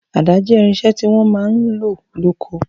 Àda jẹ́ irinṣẹ́ tí wọ́n máa ń lò lóko.